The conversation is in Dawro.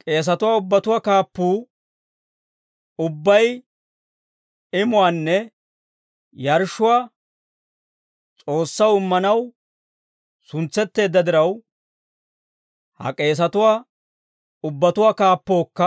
K'eesatuwaa ubbatuwaa kaappuu ubbay imuwaanne yarshshuwaa S'oossaw immanaw suntsetteedda diraw, ha k'eesatuwaa ubbatuwaa kaappookka